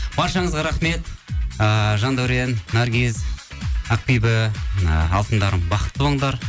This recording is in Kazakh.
баршаңызға рахмет ыыы жандәурен наргиз ақбибі і алтындарым бақытты болыңдар